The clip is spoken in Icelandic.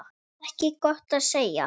Ekki gott að segja.